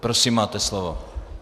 Prosím, máte slovo.